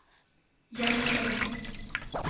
яньчэн